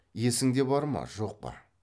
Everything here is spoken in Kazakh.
есіңде бар ма жоқ па